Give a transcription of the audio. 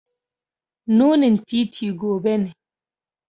Nunin titi gobe ne.